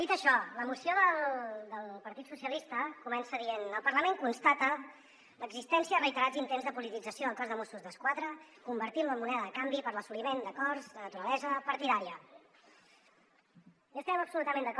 dit això la moció del partit socialistes comença dient el parlament constata l’existència de reiterats intents de politització del cos de mossos d’esquadra convertint lo en moneda de canvi per a l’assoliment d’acords de naturalesa partidària